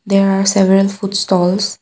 there are several food stalls.